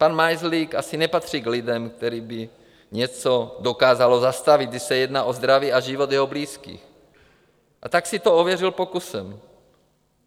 Pan Majzlík asi nepatří k lidem, které by něco dokázalo zastavit, když se jedná o zdraví a život jeho blízkých, a tak si to ověřil pokusem.